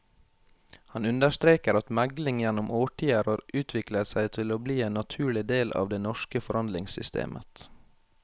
Han understreker at megling gjennom årtier har utviklet seg til å bli en naturlig del av det norske forhandlingssystemet.